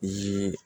Yiri